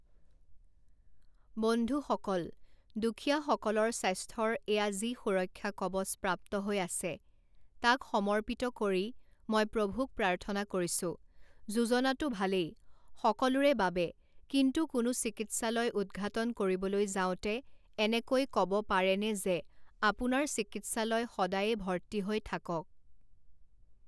বন্ধুসকল, দুখীয়াসকলৰ স্বাস্থ্যৰ এয়া যি সুৰক্ষা কৱচ প্ৰাপ্ত হৈ আছে, তাক সমৰ্পিত কৰি মই প্ৰভুক প্ৰাৰ্থনা কৰিছোঁ, যোজনাতো ভালেই, সকলোৰে বাবে, কিন্তু কোনো চিকিৎসালয় উদঘাটন কৰিবলৈ যাওঁতে এনেকৈ ক ব পাৰেনে যে আপোনাৰ চিকিৎসালয় সদায়েই ভৰ্তি হৈ থাকক?